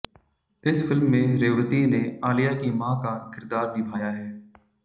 इस फिल्म में रेवती ने आलिया की मां का किरदार निभाया है